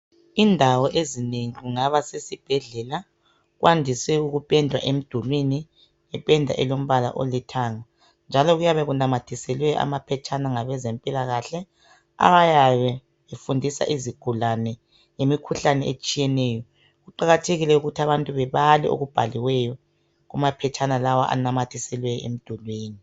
Indawo ezinengi kungaba sesibhedlela kwandise ukupendwa emdulwini ngependa alombala olithanga njalo kuyabe kunamathiselwe amaphetshana ngabezempilakahle ayabe efundisa izigulane ngemikhuhlane etshiyeneyo kuqakathekile ukuthi abantu bebale okubhaliweyo kumaphetshana lawa anamathiselwe emdulwini.